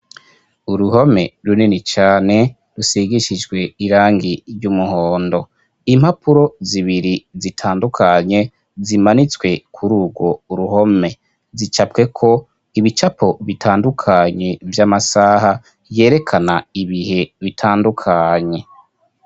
Uruhome runini cane, rusigishijwe irangi ry'umuhondo, impapuro zibiri zitandukanye zimanitswe kuri urwo uruhome ,zicapwe ko ibicapo bitandukanye vy'amasaha yerekana ibihe bitandukanye.